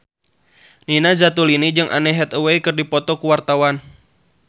Nina Zatulini jeung Anne Hathaway keur dipoto ku wartawan